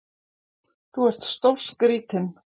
Þú ert stórskrítinn!